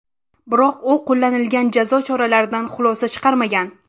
Biroq u qo‘llanilgan jazo choralaridan xulosa chiqarmagan.